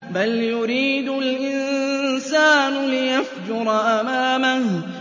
بَلْ يُرِيدُ الْإِنسَانُ لِيَفْجُرَ أَمَامَهُ